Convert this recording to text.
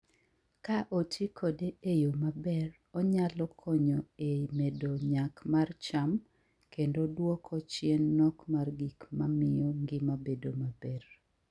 Ka oti kode e yo maber, onyalo konyo e medo nyak mar cham kendo duoko chien nok mar gik mamiyo ngima bedo maber.